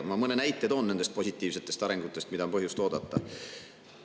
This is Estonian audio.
Ma toon mõne näite nende positiivsete arengute kohta, mida on põhjust oodata.